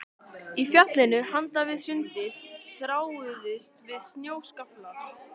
Í fjallinu handan við sundið þráuðust við snjóskaflar.